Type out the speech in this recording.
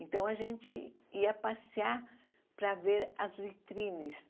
Então, a gente ia passear para ver as vitrines.